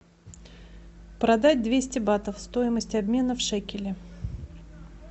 продать двести батов стоимость обмена в шекели